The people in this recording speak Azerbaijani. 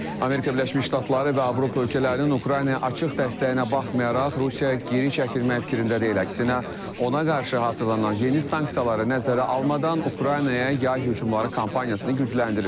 Amerika Birləşmiş Ştatları və Avropa ölkələrinin Ukraynaya açıq dəstəyinə baxmayaraq, Rusiya geri çəkilmək fikrində deyil, əksinə ona qarşı hazırlanan yeni sanksiyaları nəzərə almadan Ukraynaya yay hücumları kampaniyasını gücləndirir.